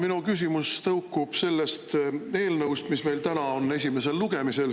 Minu küsimus tõukub sellest eelnõust, mis meil täna on esimesel lugemisel.